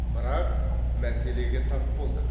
бірақ мәселеге тап болдық